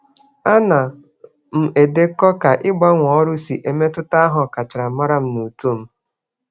Ana m edekọ ka ịgbanwe ọrụ si emetụta aha ọkachamara m na uto m.